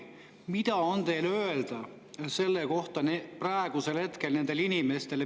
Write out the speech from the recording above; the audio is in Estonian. Mida on teil öelda selle kohta praegu nendele inimestele?